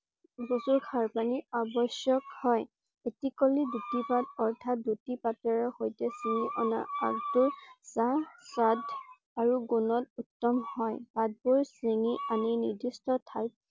কচুৰ খাৰ পানী আবশ্যক হয়। এটি কলি দুটি পাত অৰ্থাৎ দুটি পাতৰ সৈতে চিঙি আনি আগ টো চাহ সোৱাদ আৰু গুণত উত্তম হয়। পাতবোৰ চিঙি আনি নিৰ্দিষ্ট ঠাইত